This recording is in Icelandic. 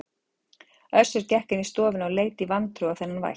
Össur gekk inn í stofuna og leit í vantrú á þennan vætt.